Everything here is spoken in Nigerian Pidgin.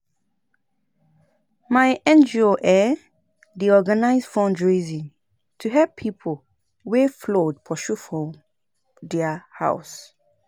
My NGO um dey organise fundraising to help pipo wey flood pursue for their house.